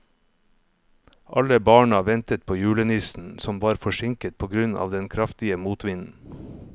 Alle barna ventet på julenissen, som var forsinket på grunn av den kraftige motvinden.